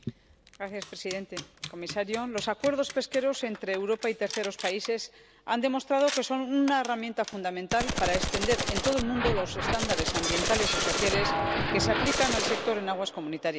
Señor presidente, señor comisario, los acuerdos pesqueros entre Europa y terceros países han demostrado que son una herramienta fundamental para extender en todo el mundo los estándares ambientales y sociales que se aplican al sector en aguas comunitarias.